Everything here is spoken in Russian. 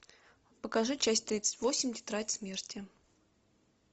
покажи часть тридцать восемь тетрадь смерти